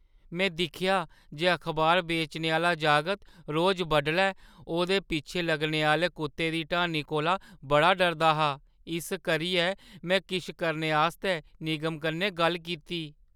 में दिक्खेआ जे अखबार बेचने आह्‌ला जागत रोज बडलै ओह्‌दे पिच्छें लग्गने आह्‌ले कुत्तें दी ढानी कोला बड़ा डरदा हा। इस करियै, में किश करने आस्तै निगम कन्नै गल्ल कीती।